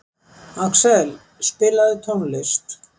Axel, spilaðu tónlist.